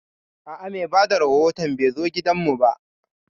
A'a, mai bada rahoton bai zo gidan mu ba